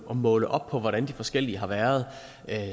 at måle op på hvordan de forskellige tiltag har været